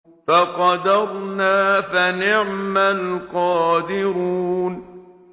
فَقَدَرْنَا فَنِعْمَ الْقَادِرُونَ